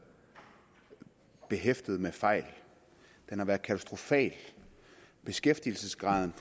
behæftet med fejl den har været katastrofal beskæftigelsesgraden